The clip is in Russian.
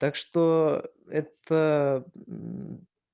так что это